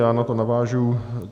Já na to navážu.